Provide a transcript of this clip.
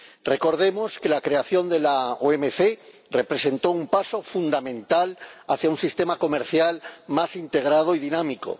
Recordemos que la creación de la OMC representó un paso fundamental hacia un sistema comercial más integrado y dinámico.